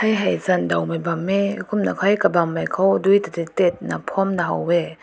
hae zan dao na bang mae kumna hai kabang mai ko duei di dit ko phun na ha weh.